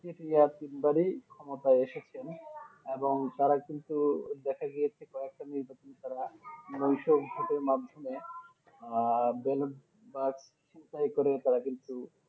ঠিক তিনবারই ক্ষমতায় এসেছেন এবং তারা কিন্তু ওই দেখা গিয়েছে কয়েকটা নির্বাচন তারা মাধ্যমে আহ বেলুন বা কিছুটা এ করে তারা কিন্তু